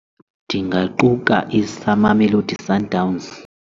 Ndingaquka Mamelodi Sundowns.